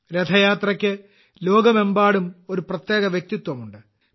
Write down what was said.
രഥയാത്രയ്ക്ക് ലോകമെമ്പാടും ഒരു പ്രത്യേക വ്യക്തിത്വമുണ്ട്